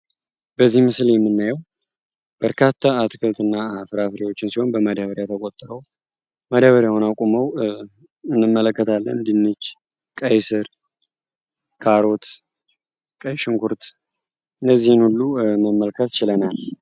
በዚህ ምስል የምናየው በርካታ አትክልት እና ፍራፍሬዎችን ሲሆን በማዳበሪያ ተቆጥሮ ደበሪያውን አቆመው እንመለከታለን። ድንች፣ ቀይ ስር፣ ካሮት፣ ቀይ ሽንኩርት እነዚህን ሁሉ መመለሰከት ችለናል።